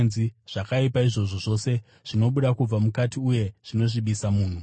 Zvakaipa izvozvi zvose zvinobuda kubva mukati uye ‘zvinosvibisa munhu.’ ”